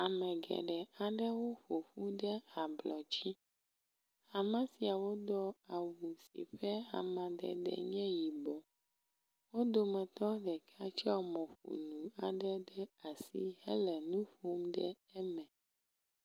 Ame geɖe aɖewo ƒoƒu ɖe ablɔ dzi. ame siawo do awu si ƒe amadede nye yibɔ. Wo dometɔ ɖeka tsɔ mɔƒonu aɖe ɖe asi hele nu ƒom ɖe eme.